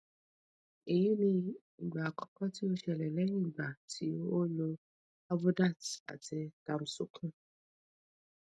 eyi ni igba akoko ti o sele lehin igba ti o lo avodart ati tamsukin